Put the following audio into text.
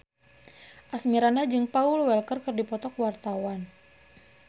Asmirandah jeung Paul Walker keur dipoto ku wartawan